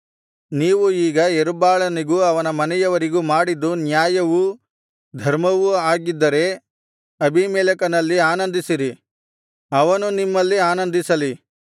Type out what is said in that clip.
ನೀವು ಈಗ ಯೆರುಬ್ಬಾಳನಿಗೂ ಅವನ ಮನೆಯವರಿಗೂ ಮಾಡಿದ್ದು ನ್ಯಾಯವೂ ಧರ್ಮವೂ ಆಗಿದ್ದರೆ ಅಬೀಮೆಲೆಕನಲ್ಲಿ ಆನಂದಿಸಿರಿ ಅವನು ನಿಮ್ಮಲ್ಲಿ ಆನಂದಿಸಲಿ